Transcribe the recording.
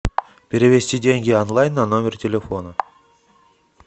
перевести деньги онлайн на номер телефона